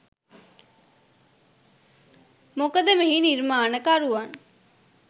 මොකද මෙහි නිර්මාණකරුවන්